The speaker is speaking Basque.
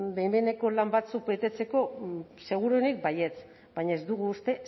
behin behineko lan batzuk betetzeko seguruenik baietz baina ez dugu uste